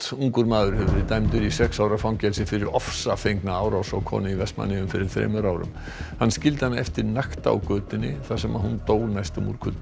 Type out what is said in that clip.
ungur maður hefur verið dæmdur í sex ára fangelsi fyrir ofsafengna árás á konu í Vestmannaeyjum fyrir þremur árum hann skildi hana eftir nakta á götunni þar sem hún dó næstum úr kulda